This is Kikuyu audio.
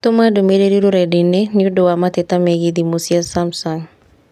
Tũma ndũmĩrĩri rũrenda-inī nĩũndũ wa mateta megiĩ thimũ cia Samsung